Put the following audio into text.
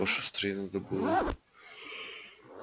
пошустрей надо было